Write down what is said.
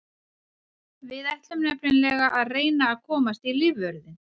Við ætlum nefnilega að reyna að komast í lífvörðinn.